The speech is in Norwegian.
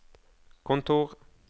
kontor